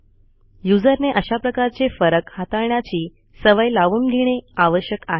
user ने अशा प्रकारचे फरक हाताळण्याची सवय लावून घेणे आवश्यक आहे